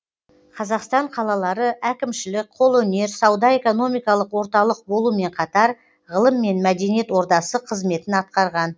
қазақстан қалалары әкімшілік қолөнер сауда экономикалық орталық болумен қатар ғылым мен мәдениет ордасы қызметін атқарған